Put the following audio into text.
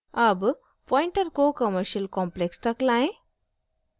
अब pointer को commercial complex तक लाएं